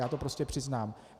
Já to prostě přiznám.